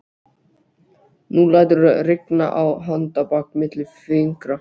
Nú læturðu rigna á handarbak milli fingra